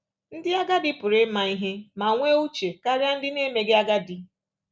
Ndị agadi pụrụ ịma ihe ma nwee uche karịa ndị na-emeghị agadi.